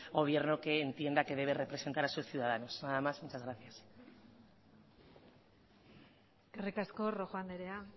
gobierno que entienda que debe representar a sus ciudadanos nada más muchas gracias eskerrik asko rojo andrea